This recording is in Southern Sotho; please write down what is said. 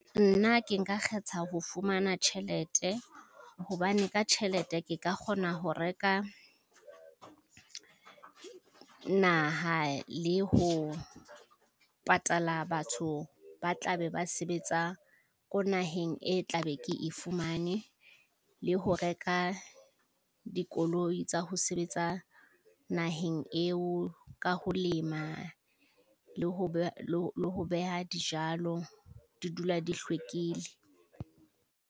Nna ke nka kgetha ho fumana tjhelete, hobane ka tjhelete ke ka kgona ho reka naha le ho patala batho ba tlabe ba sebetsa ko naheng, e tla be ke e fumane le ho reka dikoloi tsa ho sebetsa naheng eo ka ho lema le ho beha ho beha dijalo di dula di hlwekile.